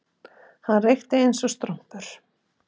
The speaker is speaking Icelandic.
Hann reykti eins og strompur